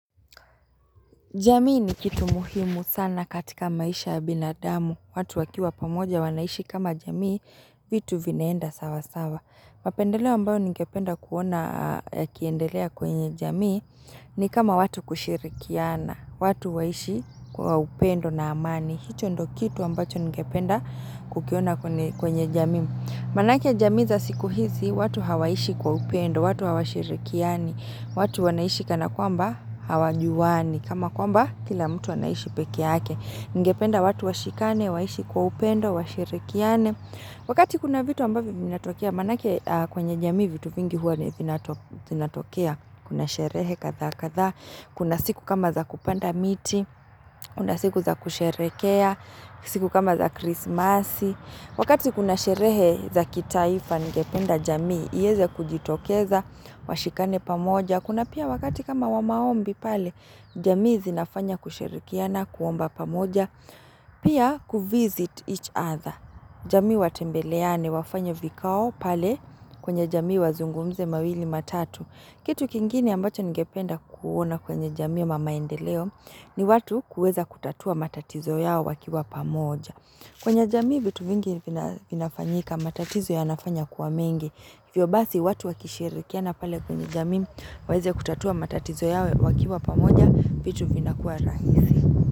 Jamii ni kitu muhimu sana katika maisha ya binadamu. Watu wakiwa pamoja wanaishi kama jamii, vitu vinaenda sawa sawa. Mapendeleo ambayo ningependa kuona yakiendelea kwenye jamii ni kama watu kushirikiana. Watu waishi kwa upendo na amani. Hicho ndo kitu ambacho ningependa kukiona kwenye jamii. Manake jamii za siku hizi, watu hawaishi kwa upendo, watu hawashirikiani. Watu wanaishi kana kwamba hawajuwani kama kwamba kila mtu anaishi peke yake Ningependa watu washikane, waishi kwa upendo, washirikiane Wakati kuna vitu ambavyo vinatokea Manake kwenye jamii vitu vingi huwa vinatokea Kuna sherehe kadhaa kadhaa Kuna siku kama za kupanda miti Kuna siku za kusherekea siku kama za krismasi Wakati kuna sherehe za kitaifa ningependa jamii ieze kujitokeza, washikane pamoja, kuna pia wakati kama wa maombi pale, jamii zinafanya kushirikiana, kuomba pamoja, pia kuvisit each other. Jamii watembeleane wafanye vikao pale kwenye jamii wazungumze mawili matatu. Kitu kingine ambacho ningependa kuona kwenye jamii ama maendeleo ni watu kuweza kutatua matatizo yao wakiwa pamoja. Kwenye jamii, vitu vingi vinafanyika matatizo yanafanya kuwa mingi. Hivyo basi, watu wakishirikiana pale kwenye jamii, waeze kutatua matatizo yawe wakiwa pamoja, vitu vinakuwa rahisi.